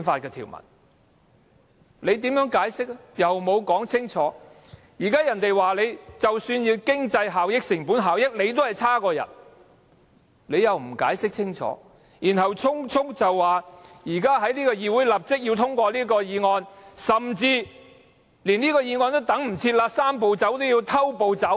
現在有人質疑，即使以經濟效益或成本效益的角度看，方案也很差劣，政府又不解釋清楚，只是匆匆要求議會立即通過這項議案，甚至連通過議案也等不了，"三步走"要變成"偷步走"。